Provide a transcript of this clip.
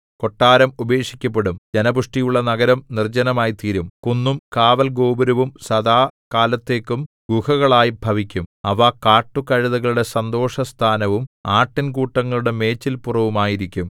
കൊട്ടാരം ഉപേക്ഷിക്കപ്പെടും ജനപുഷ്ടിയുള്ള നഗരം നിർജ്ജനമായിത്തീരും കുന്നും കാവല്‍ഗോപുരവും സദാകാലത്തേക്കും ഗുഹകളായി ഭവിക്കും അവ കാട്ടുകഴുതകളുടെ സന്തോഷസ്ഥാനവും ആട്ടിൻ കൂട്ടങ്ങളുടെ മേച്ചിൽപുറവും ആയിരിക്കും